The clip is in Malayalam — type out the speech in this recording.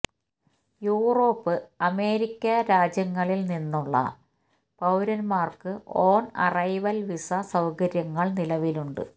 യൂറോപ്പ് അമേരിക്ക രാജ്യങ്ങളില് നിന്നുള്ള പൌരന്മാര്ക്ക് ഓണ് അറൈവല് വിസ സൌകര്യങ്ങള് നിലവിലുണ്ട്